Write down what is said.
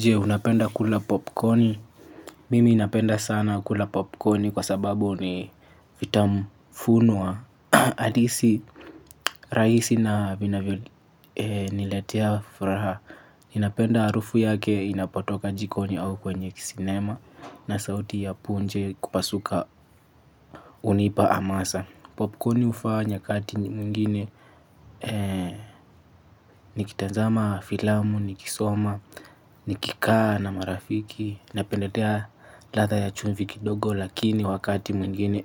Jee unapenda kula popcorni? Mimi napenda sana kula popcorni kwa sababu ni vitamu funwa. Adisi raisi na vinavyoniletea furaha. Inapenda arufu yake inapatoka jikonyo au kwenye kisinema na sauti ya punje kupasuka kunipa amasa. Popcorni hufaa nyakati nyengine nikitazama filamu, nikisoma nikikaa na marafiki. Napendelea ladha ya chumvi kidogo lakini wakati mwingine